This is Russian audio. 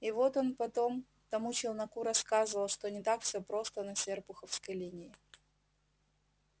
и вот он потом тому челноку рассказывал что не так всё просто на серпуховской линии